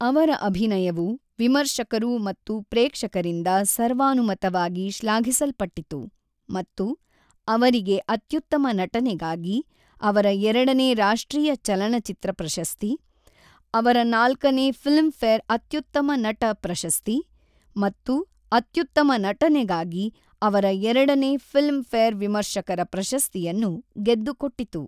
ಅವರ ಅಭಿನಯವು ವಿಮರ್ಶಕರು ಮತ್ತು ಪ್ರೇಕ್ಷಕರರಿಂದ ಸರ್ವಾನುಮತವಾಗಿ ಶ್ಲಾಘಿಸಲ್ಪಟ್ಟಿತು ಮತ್ತು ಅವರಿಗೆ ಅತ್ಯುತ್ತಮ ನಟನೆಗಾಗಿ ಅವರ ಎರಡನೇ ರಾಷ್ಟ್ರೀಯ ಚಲನಚಿತ್ರ ಪ್ರಶಸ್ತಿ, ಅವರ ನಾಲ್ಕನೇ ಫಿಲ್ಮ್ಫೇರ್ ಅತ್ಯುತ್ತಮ ನಟ ಪ್ರಶಸ್ತಿ, ಮತ್ತು ಅತ್ಯುತ್ತಮ ನಟನೆಗಾಗಿ ಅವರ ಎರಡನೇ ಫಿಲ್ಮ್ಫೇರ್ ವಿಮರ್ಶಕರ ಪ್ರಶಸ್ತಿಯನ್ನು ಗೆದ್ದುಕೊಟ್ಟಿತು.